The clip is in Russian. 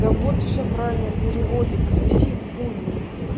да бот всё правильно переводит соси хуй мой